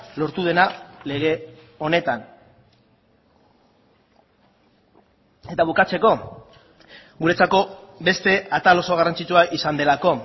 lortu dena lege honetan eta bukatzeko guretzako beste atal oso garrantzitsua izan delako